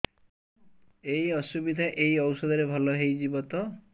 ଏଇ ଅସୁବିଧା ଏଇ ଔଷଧ ରେ ଭଲ ହେଇଯିବ ତ